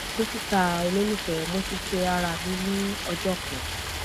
dokita ololufẹ mo ti ṣe ara mi ni ọjọ kan